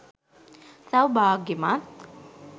සෞභාග්‍යමත්